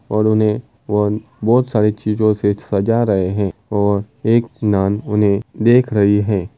और उन्हे वो बहुत सारी चीजों से सजा रहे है और एक नान उन्हे देख रही हैं।